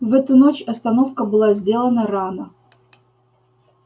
в эту ночь остановка была сделана рано